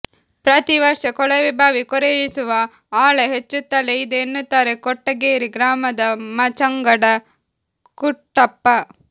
ಪ್ರತಿ ವರ್ಷ ಕೊಳವೆಬಾವಿ ಕೊರೆಯಿಸುವ ಆಳ ಹೆಚ್ಚುತ್ತಲೇ ಇದೆ ಎನ್ನುತ್ತಾರೆ ಕೊಟ್ಟಗೇರಿ ಗ್ರಾಮದ ಮಾಚಂಗಡ ಕುಟ್ಟಪ್ಪ